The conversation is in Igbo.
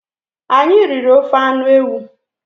Anyị riri ofe anụ ewu.